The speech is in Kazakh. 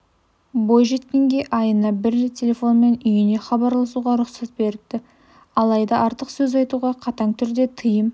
бойжеткенге айына бір рет телефонмен үйіне хабарласуға рұқсат беріпті алайда артық сөз айтуға қатаң түрде тыйым